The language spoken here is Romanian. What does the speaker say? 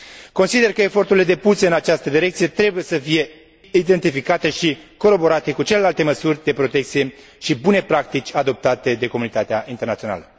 Consider că eforturile depuse în această direcție trebuie să fie identificate și coroborate cu celelalte măsuri de protecție și bune practici adoptate de comunitatea internațională.